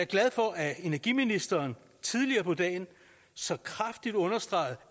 glad for at energiministeren tidligere på dagen så kraftigt understregede